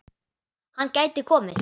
Hann gæti komið